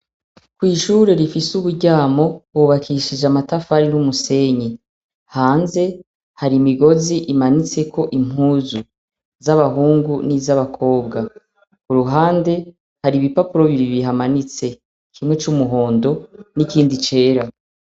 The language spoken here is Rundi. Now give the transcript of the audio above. Kw’ishure rifis’uburyamo, hubakishije amatafari n’umusenyi. Hanze har’imigozi imanitseko impuzu , z’abahungu n’izabakobwa. kuruhande, har’ibipapuro bibiri bihamanitse. Kumwe c’umuhondo n’ikindi cera.